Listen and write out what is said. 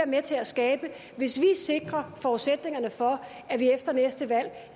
med til at skabe hvis vi sikrer forudsætningerne for at vi efter næste valg